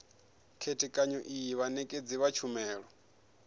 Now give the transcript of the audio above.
khethekanyo iyi vhanekedzi vha tshumelo